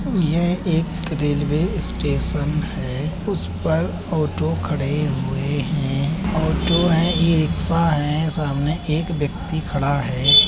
यह एक railway station है । उस पर ऑटो खड़े हुए हैं ऑटो हैं ई रिक्शा हैं सामने एक व्यक्ति खडा़ है।